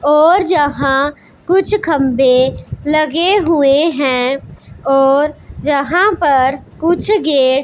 और जहां कुछ खंबे लगे हुए हैं और जहां पर कुछ गेट --